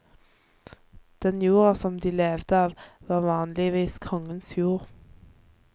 Den jorda som de levde av var vanligvis kongens jord.